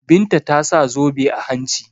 Binta ta sa zobe a hanci.